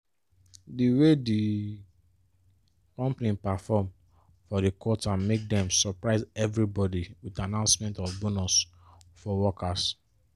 di way the company perform for the quarter make dem surprise everybody with announcement of bonus for workers.